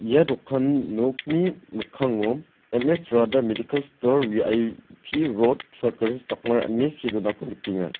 ia dokan nokni mikkango M_S radha medikal stor V_I_P rod saut garo hils baghmara ine see donako nikenga.